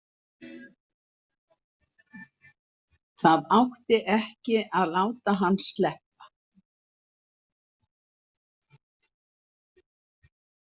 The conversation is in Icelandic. Það átti ekki að láta hann sleppa!